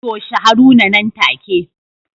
Toshe Haruna nan take